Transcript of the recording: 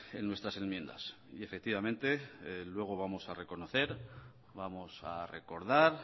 en nuestras enmiendas y efectivamente luego vamos a reconocer vamos a recordar